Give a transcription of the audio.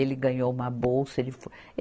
Ele ganhou uma bolsa. Ele fo